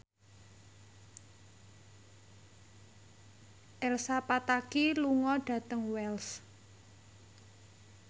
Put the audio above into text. Elsa Pataky lunga dhateng Wells